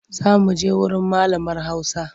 Za muje wurin malamar hausa.